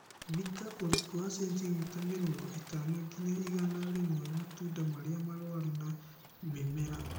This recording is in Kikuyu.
Thika ũriku wa sentimita mĩrongo ĩtano nginya igana rĩmwe matunda marĩa marũaru na mimera